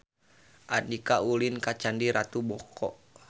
Andika ulin ka Candi Ratu Boko